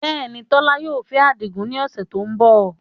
Bẹ́ẹ̀ ni, Tola yóò fẹ́ Adigun ní ọ̀sẹ̀ tó ń bọ̀